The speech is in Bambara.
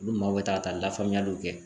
Olu maaw be taa ka taa lafaamuyaliw kɛ.